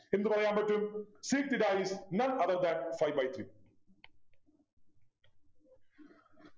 എന്ത് പറയാൻ പറ്റും sec theta is none other than five by three